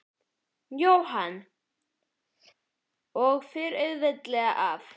Jóhann: Og fer auðveldlega af?